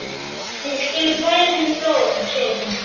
Við skulum færa henni blóm, segir hún.